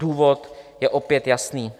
Důvod je opět jasný.